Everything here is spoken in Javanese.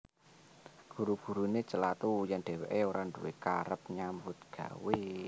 Guru guruné celathu yèn dhèwèké ora nduwé karep nyambut gawé